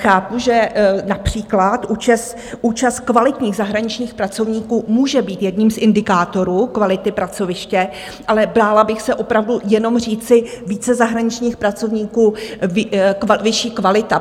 Chápu, že například účast kvalitních zahraničních pracovníků může být jedním z indikátorů kvality pracoviště, ale bála bych se opravdu jenom říci více zahraničních pracovníků - vyšší kvalita.